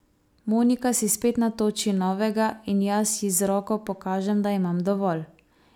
Monika si spet natoči novega in jaz ji z roko pokažem, da imam dovolj.